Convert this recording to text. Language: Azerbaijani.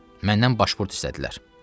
Məndən başburt istədilər.